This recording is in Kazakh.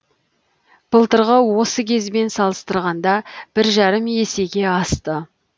былтырғы осы кезбен салыстырғанда бір жарым есеге асты